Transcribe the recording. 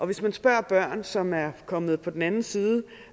hvis man spørger børn som er kommet på den anden side